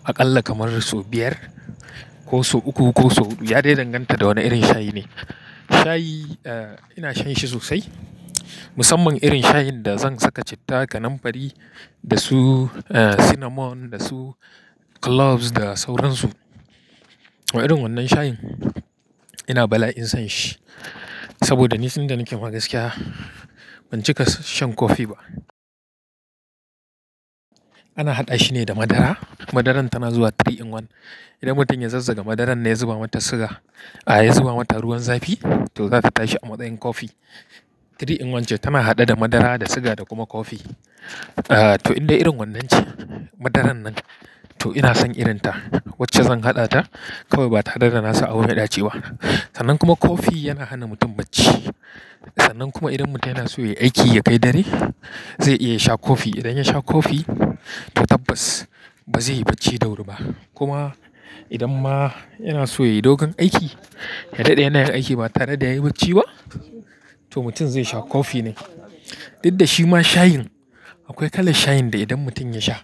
aƙalla kamar sau biyar ko sau uku ko sau huɗu. Ya dai danganta da wane irin shayi ne. Shayi, ina shan shi sosai musamman irin shayin da zan saka citta da namfari da su, cinnamon da su cloves da sauransu. Irin wannan shayin, ina bala'in shan shi saboda ni tun da nake ma gaskiya ban cika shan kofi ba. Ana haɗa shi ne da madara. Madaran tana zuwa three in one. Idan mutum ya zazzaga madaran ne ya zuba mata suga, a ya zuba mata ruwan zafi to zata tashi a matsayin kofi. Three in one ce, tana haɗe da madara da suga da kuma kofi. Toh in dai irin wannan ce madaran nan toh ina son irin ta wacce zan haɗa ta kawai ba tare da nasa abu mai ɗaci ba. Sannan kuma kofi yana hana mutum bacci. Sannan kuma idan mutum yana so ya yi aiki, ya kai dare zai iya sha kofi. Idan ya sha kofi toh tabbas ba zai yi bacci da wuri ba. Kuma idan ma yana so ya yi dogon aiki, ya daɗe yana yin aiki ba tare da ya yi bacci ba to mutum zai sha kofi ne. Duk da shima shayin akwai kalan shayin da idan mutum ya sha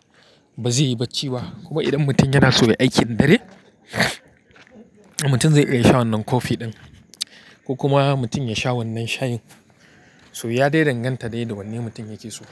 ba zai yi bacci ba. Kuma idan mutum yana so ya yi aikin dare, mutum zai iya sha wannan kofi ɗin ko kuma mutum ya sha wannan shayin so ya dai danganta dai da wanne mutum yake so.